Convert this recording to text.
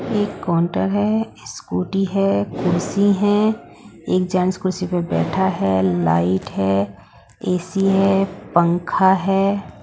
एक काउंटर है स्कूटी है कुर्सी है एक जेंट्स कुर्सी पे बैठा है लाइट है ए_सी है पंखा है।